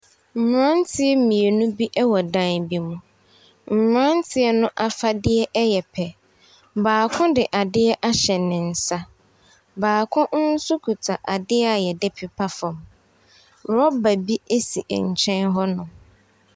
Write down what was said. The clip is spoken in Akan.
Mmeranteɛ mmienu bi wɔ dan bi mu, mmeranteɛ no afadeɛ yɛ pɛ, baako de adeɛ ahyɛ ne nsa, baako nso kita adeɛ a yɛde pepa fam. Rɔba bi si nkyɛn hɔnom.